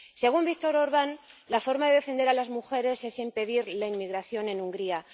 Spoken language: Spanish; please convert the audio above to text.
Según Viktor Orban, la forma de defender a las mujeres es impedir la inmigración en Hungría.